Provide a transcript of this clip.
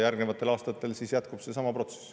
Järgnevatel aastatel siis jätkub seesama protsess.